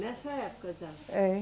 Nessa época já? É